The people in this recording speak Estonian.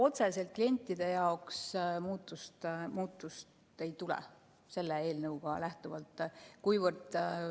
Otseselt klientide jaoks sellest eelnõust lähtuvalt midagi ei muutu.